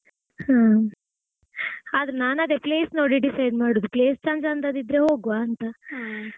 ಹಾ ಆದ್ರೆ ನಾನ್ ಅದೇ place ನೋಡಿ decide ಮಾಡುದು. place ಚಂದ್ ಚಂದದ್ದಿದ್ರೆ ಹೋಗ್ವಂತ.